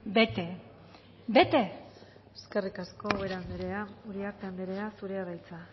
bete bete eskerrik asko ubera anderea uriarte anderea zurea da hitza